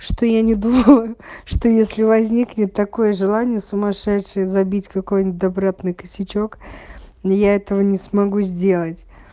что я не думаю что если возникнет такое желание сумасшедшие забить какой-нибудь добротный косячок но я этого не смогу сделать